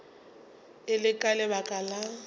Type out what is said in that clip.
e le ka lebaka la